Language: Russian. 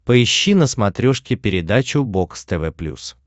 поищи на смотрешке передачу бокс тв плюс